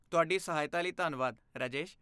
ਤੁਹਾਡੀ ਸਹਾਇਤਾ ਲਈ ਧੰਨਵਾਦ, ਰਾਜੇਸ਼।